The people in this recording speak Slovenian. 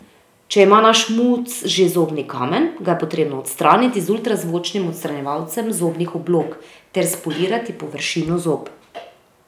Če ima naš muc že zobni kamen, ga je potrebno odstraniti z ultrazvočnim odstranjevalcem zobnih oblog ter spolirati površino zob.